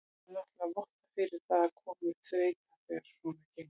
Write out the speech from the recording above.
Það náttúrulega vottar fyrir að það komi upp þreyta þegar svona gengur.